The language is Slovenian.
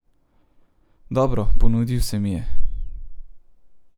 Dobro, ponudil se mi je.